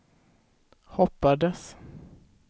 hoppades